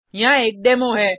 यहाँ एक डेमो है